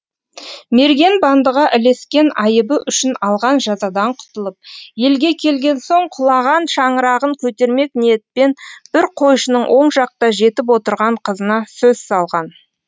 мерген бандыға ілескен айыбы үшін алған жазадан құтылып елге келген соң құлаған шаңырағын көтермек ниетпен бір қойшының оң жақта жетіп отырған қызына сөз салған